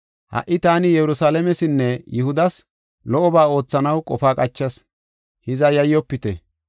Ha77i taani Yerusalaamesinne Yihudas lo77oba oothanaw qofa qachas. Hiza yayyofite!